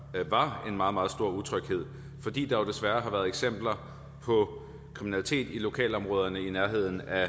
en meget meget stor utryghed fordi der jo desværre har været eksempler på kriminalitet i lokalområderne i nærheden af